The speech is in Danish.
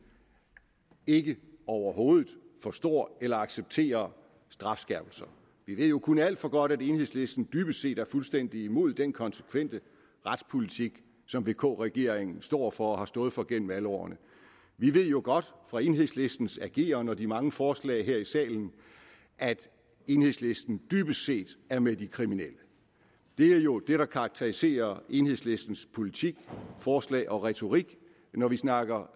ikke overhovedet forstår eller accepterer strafskærpelser vi ved jo kun alt for godt at enhedslisten dybest set er fuldstændig imod den konsekvente retspolitik som vk regeringen står for og har stået for gennem alle årene vi ved jo godt fra enhedslistens ageren og de mange forslag her i salen at enhedslisten dybest set er med de kriminelle det er jo det der karakteriserer enhedslistens politik forslag og retorik når vi snakker